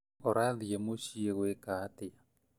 ũrathiĩ mũciĩ gwĩka atĩa